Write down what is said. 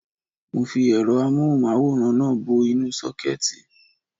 Mo fi ẹ̀rọ amóhùn máwòrán náà bọ inú sókẹ́ẹ̀tì